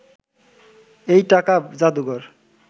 এই টাকা জাদুঘর